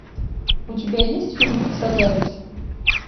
у тебя есть фильм солярис